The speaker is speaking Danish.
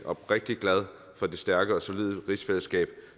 oprigtig glad for det stærke og solide rigsfællesskab